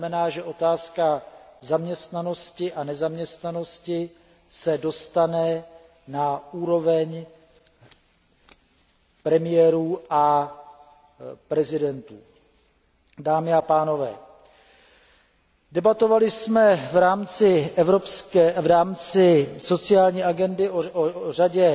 To znamená, že otázka zaměstnanosti a nezaměstnanosti se dostane na úroveň předsedů a prezidentů. Dámy a pánové, debatovali jsme v rámci sociální agendy o řadě